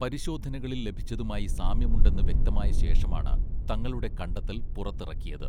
പരിശോധനകളിൽ ലഭിച്ചതുമായി സാമ്യമുണ്ടെന്ന് വ്യക്തമായ ശേഷമാണ് തങ്ങളുടെ കണ്ടെത്തൽ പുറത്തിറക്കിയത്